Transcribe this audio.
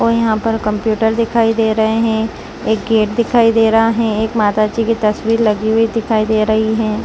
और यहां पर कंप्यूटर दिखाई दे रहे हैं एक गेट दिखाई दे रहा है एक माता जी की तस्वीर लगी हुई दिखाई दे रही है।